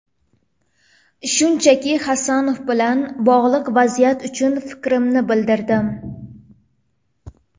Shunchaki, Hasanov bilan bog‘liq vaziyat uchun fikrimni bildirdim.